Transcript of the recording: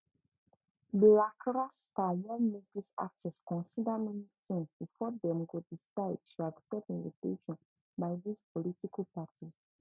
blak rasta wan mek dis artist consider many tins bifor dem go decide tu accept invitation by dis political parties